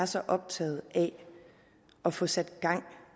så optaget af at få sat gang